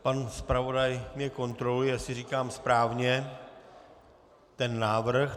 Pan zpravodaj mě kontroluje, jestli říkám správně ten návrh.